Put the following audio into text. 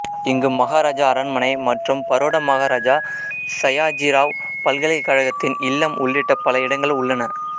இங்கு மகாராஜா அரண்மனை மற்றும் பரோடா மகாராஜா சயாஜிராவ் பல்கலைக்கழகத்தின் இல்லம் உள்ளிட்ட பல இடங்கள் உள்ளன